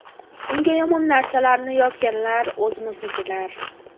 Unga yomon narsalarni yozganlar o‘zimiznikilar.